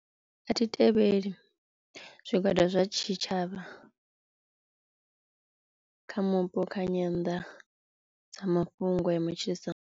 A thi tevheli zwigwada zwa tshitshavha kha mupo kha nyanḓadzamafhungo ya matshilisano.